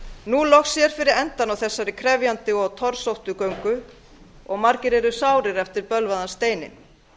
nú loks sér fyrir endann á þessari krefjandi og torsóttu göngu og margir eru sárir eftir bölvaðan steininn